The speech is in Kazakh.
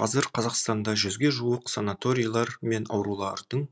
қазір қазақстанда жүзге жуық санаторилар мен аурулардың